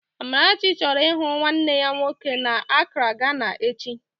Amarachi chọrọ ịhụ nwanne ya nwoke n'Akraa, Gana echi